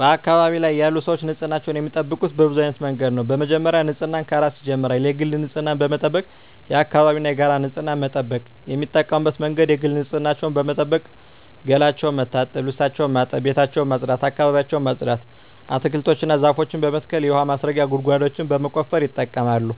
በአካባቢዬ ያሉ ሰዎች ንፅህናቸውን የሚጠብቁት በብዙ አይነት መንገድ ነው በመጀመሪያ ንፅህና ከራስ ይጀምራል የግል ንፅህናን በመጠበቅ የአካባቢን እና የጋራ ንፅህና መጠበቅ። የሚጠቀሙበት መንገድ የግል ንፅህናቸውን በመጠበቅ ገላቸውን መታጠብ ልብሳቸውን ማጠብ ቤታቸውን ማፅዳት አካባቢያቸውን ማፅዳት። አትክልቶችን እና ዛፎችን በመትከል የውሀ ማስረጊያ ጉድጓዶችን በመቆፈር ይጠቀማሉ።